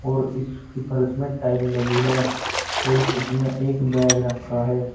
और इसकी फर्श में टाइल लगी है और इस चित्र में एक बैग रखा है।